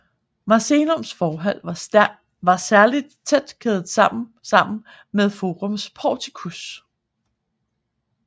Macellums forhal var særlig tæt kædet sammen sammen med Forums porticus